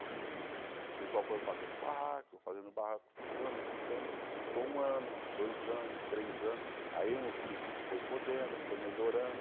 O pessoal foram fazendo o barraco, fazendo o barraco, ficando, ficando, ficou um ano, dois anos, três anos, aí uns que foi podendo, foi melhorando,